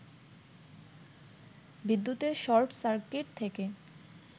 বিদ্যুতের short circuit থেকে